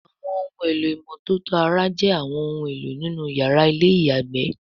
Àwọn ohun èlò ìmọ́tótó ara jé àwọn òun èló nínú yàrá Ilé-ìyàgbé